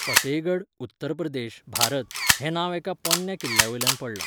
फतेहगढ, उत्तर प्रदेश, भारत हें नांव एका पोरन्या किल्ल्यावयल्यान पडलां.